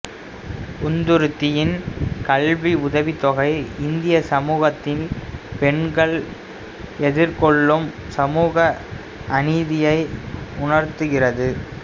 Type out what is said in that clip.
உந்தூர்த்தியின் கல்வி உதவித்தொகை இந்திய சமூகத்தில் பெண்கள் எதிர்கொள்ளும் சமூக அநீதியை உணர்த்துகிறது